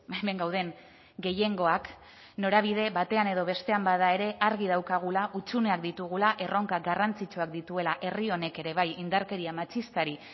hemen gauden gehiengoak norabide batean edo bestean bada ere argi daukagula hutsuneak ditugula erronka garrantzitsuak dituela herri honek ere bai indarkeria matxistari